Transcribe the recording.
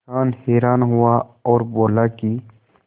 किसान हैरान हुआ और बोला कि